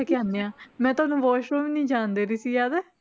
ਜਾ ਕੇ ਆਉਂਦੇ ਹਾਂ ਮੈਂ ਤੁਹਾਨੂੰ ਵਾਸਰੂਮ ਵੀ ਨੀ ਜਾਣ ਦੇ ਰਹੀ ਸੀ ਯਾਦ ਹੈ।